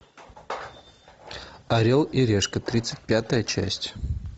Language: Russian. орел и решка тридцать пятая часть